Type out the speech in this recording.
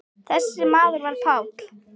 Þessi maður var Páll.